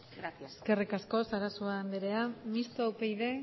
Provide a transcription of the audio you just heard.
gracias eskerrik asko sarasua andrea mistoa upyd